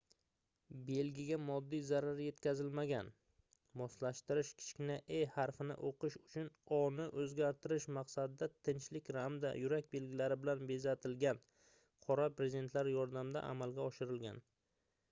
belgiga moddiy zarar yetkazilmagan; moslashtirish kichkina e harfini o'qish uchun o"ni o'zgartirish maqsadida tinchlik hamda yurak belgilari bilan bezatilgan qora brezentlar yordamida amalga oshirilgan